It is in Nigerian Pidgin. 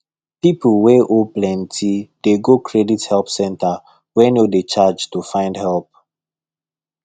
people wey owe plenty dey go credit help centre wey no dey charge to find help